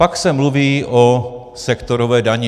Pak se mluví o sektorové dani.